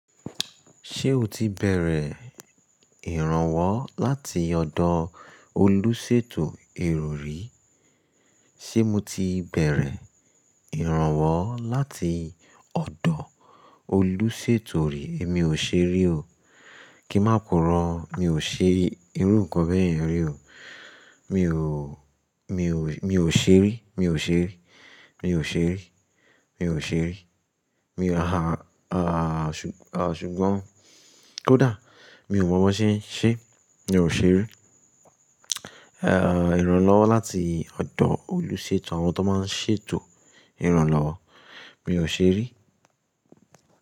Ṣé o ti bẹ̀rẹ̀ ìrànwọ́ láti ọ̀dọ̀ olóṣètò erọ̀ rí? Sé mo ti bẹ̀rẹ̀ ìrànwọ́ láti ọ̀dọ̀ oluṣètò rí? Èmi ò ṣe rí o. Kí máa purọ, mi ò ṣe rí irú nǹkan bẹ́ẹ̀ rí o. Mi ò, mi ò, mi ò ṣe rí, mi ò ṣe rí, mi ò ṣe rí, mi ò ṣe rí, mi ò ṣùgbọ́n, ó dáa, mi ò mọ̀ bó ṣe ń ṣe, mi ò ṣe rí. Ìrànlọ́wọ́ láti ọ̀dọ̀ oluṣètò, àwọn tó máa ń ṣètò ìrànlọ́wọ́, mi ò ṣe rí.